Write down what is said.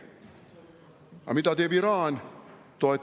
Aga mida teeb Iraan?